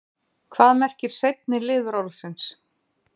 Hvað merkir seinni liður orðsins?